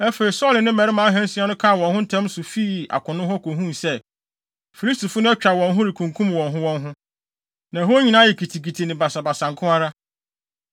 Afei, Saulo ne ne mmarima ahansia no kaa wɔn ho ntɛm so fii akono hɔ kohuu sɛ, Filistifo no atwa wɔn ho rekunkum wɔn ho wɔn ho. Na ɛhɔ nyinaa ayɛ kitikiti ne basabasa nko ara.